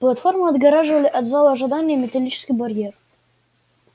платформу отгораживали от зала ожидания металлический барьер